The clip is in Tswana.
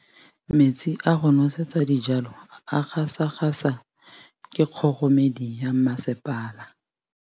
Metsi a go nosetsa dijalo a gasa gasa ke kgogomedi ya masepala.